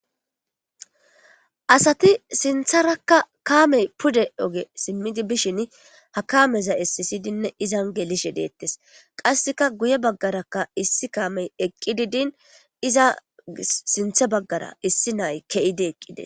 asati sintharakka kaamey pude oge simmidi bishin ha kaameza essisidinne izan gelishe deettes qasseka guye baggaraka issi kaamey eqqi didin iza sinthe baggara issi nay ke7ide eqqide